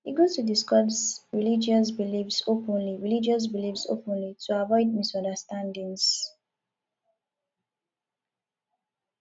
e good to discuss religious beliefs openly religious beliefs openly to avoid misunderstandings